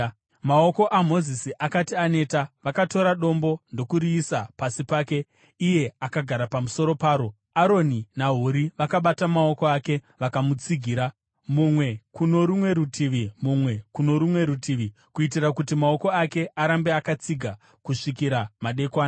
Maoko aMozisi akati aneta, vakatora dombo ndokuriisa pasi pake iye akagara pamusoro paro. Aroni naHuri vakabata maoko ake vakamutsigira, mumwe kuno rumwe rutivi, mumwe kuno rumwe rutivi, kuitira kuti maoko ake arambe akatsiga kusvikira madekwana.